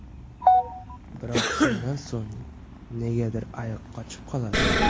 Biroq shundan so‘ng negadir ayiq qochib qoladi.